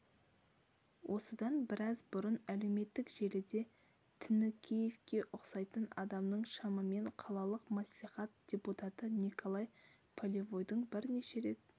осыдан біраз бұрын әлеуметтік желіде тінікеевке ұқсайтын адамның шамамен қалалық маслихат депутаты николай полевойдың бірнеше рет